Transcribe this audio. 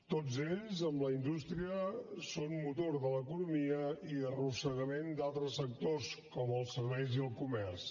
tots ells amb la indústria són motor de l’economia i arrossegament d’altres sectors com els serveis i el comerç